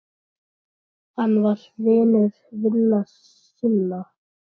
Hann var vinur vina sinna.